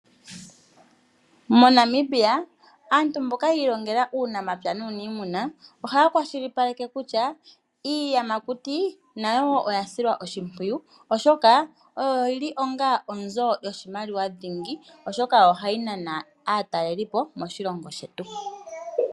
MoNamibia, aantu mboka yi ilongela uunamapya nuuniimuna, ohaya kwashilipaleke kutya iiyamakuti nayo oya silwa oshimpwiyu oshoka oyo yili onga onzo yoshimaliwa dhingi oshoka ohayi nana aatalelipo moshilongo shetu.